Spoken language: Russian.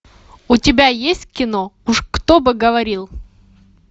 у тебя есть кино уж кто бы говорил